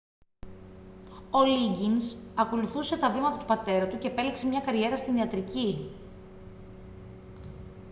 ο λίγκινς ακολούθησε τα βήματα του πατέρα του και επέλεξε μια καριέρα στην ιατρική